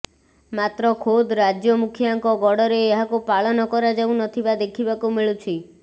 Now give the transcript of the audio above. ମାତ୍ର ଖୋଦ ରାଜ୍ୟ ମୁଖିଆଙ୍କ ଗଡ଼ରେ ଏହାକୁ ପାଳନ କରାଯାଉନଥିବା ଦେଖିବାକୁ ମିଳୁଛି